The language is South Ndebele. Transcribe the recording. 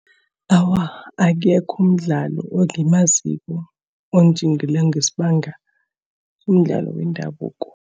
Awa, akekho umdlali engimaziko onjingileko ngesibanga somdlalo wendabuko.